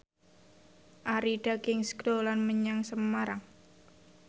Arie Daginks dolan menyang Semarang